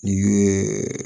N'i ye